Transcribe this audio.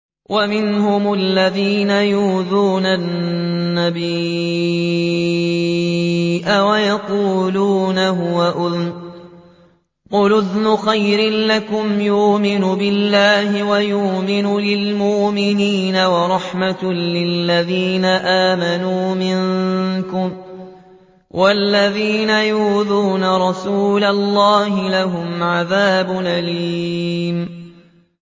وَمِنْهُمُ الَّذِينَ يُؤْذُونَ النَّبِيَّ وَيَقُولُونَ هُوَ أُذُنٌ ۚ قُلْ أُذُنُ خَيْرٍ لَّكُمْ يُؤْمِنُ بِاللَّهِ وَيُؤْمِنُ لِلْمُؤْمِنِينَ وَرَحْمَةٌ لِّلَّذِينَ آمَنُوا مِنكُمْ ۚ وَالَّذِينَ يُؤْذُونَ رَسُولَ اللَّهِ لَهُمْ عَذَابٌ أَلِيمٌ